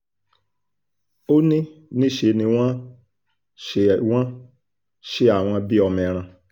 ó ní níṣẹ́ ni wọ́n ṣe wọ́n ṣe àwọn bíi ọmọ ẹran